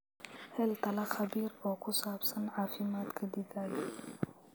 Hel talo khabiir oo ku saabsan caafimaadka digaaggaaga.